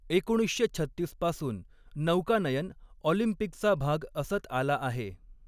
एकोणीसशे छत्तीस पासून नौकानयन ऑलिम्पिकचा भाग असत आला आहे.